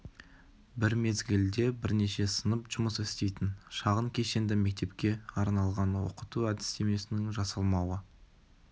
бір мезгілде бірнеше сынып жұмыс істейтін шағын кешенді мектепке арналған оқыту әдістемесінің жасалмауы